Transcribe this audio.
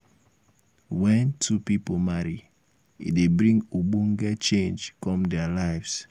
when two pipo marry e dey bring ogbonge change come their lives